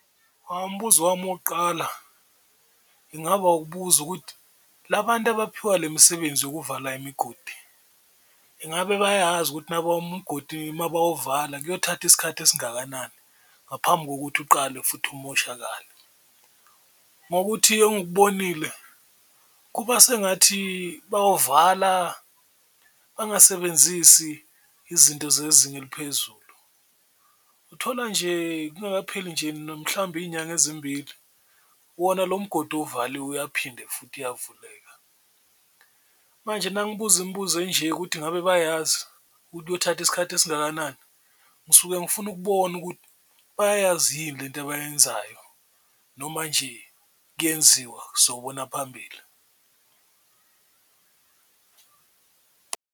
Umbuzo wami wokuqala ingaba ukubuza ukuthi, la bantu abaphiwa le misebenzi yokuvala imigodi, ingabe bayazi ukuthi umgodi uma bawuvala kuyothatha isikhathi esingakanani ngaphambi kokuthi uqale futhi umoshakale? Ngokuthi engikubonile kuba sengathi bawuvala bangasebenzisi izinto zezinga eliphezulu, uthola lokho nje kungakapheli nje mhlawumbe iy'nyanga ezimbili wona lo mgodi ovaliwe uyaphinde futhi uyavuleka. Manje nangibuza imibuzo enje ukuthi ngabe bayazi ukuthi kuyothatha isikhathi esingakanani ngisuke ngifuna ukubona ukuthi bayayazi yini lento abayenzayo, noma nje kuyenziwa sobona phambili.